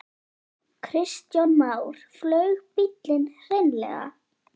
Kristján Már: Flaug bíllinn hreinlega?